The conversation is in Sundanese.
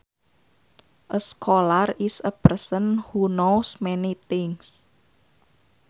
A scholar is a person who knows many things